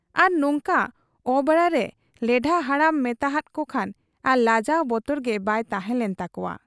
ᱟᱨ ᱱᱚᱝᱠᱟ ᱚᱵᱮᱲᱟᱨᱮ ᱦᱚᱸ ᱞᱮᱰᱷᱟ ᱦᱟᱲᱟᱢ ᱢᱮᱛᱟᱦᱟᱫ ᱠᱚᱠᱷᱟᱱ ᱟᱨ ᱞᱟᱡᱟᱣ ᱵᱚᱛᱚᱨ ᱜᱮ ᱵᱟᱭ ᱛᱟᱦᱮᱸ ᱞᱮᱱ ᱛᱟᱠᱚᱣᱟ ᱾